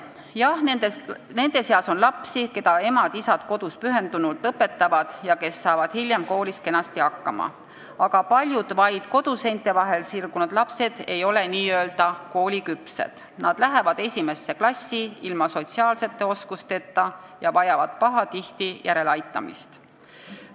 Jah, nende seas on lapsi, keda emad-isad kodus pühendunult õpetavad ja kes saavad hiljem koolis kenasti hakkama, aga paljud vaid koduseinte vahel sirgunud lapsed ei ole kooliküpsed, nad lähevad esimesse klassi ilma sotsiaalsete oskusteta ja vajavad pahatihti järeleaitamist.